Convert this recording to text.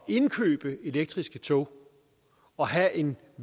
indkøbe elektriske tog og have en